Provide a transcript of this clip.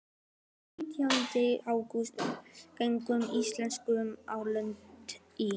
Þann nítjánda ágúst gengu Íslendingarnir á land í